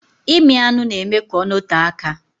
ịmị anụ na-eme ka ọ nọtee aka.